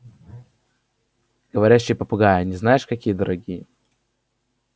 говорящие попугаи они знаешь какие дорогие